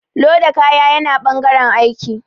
Loda kaya yana ɓangaren aiki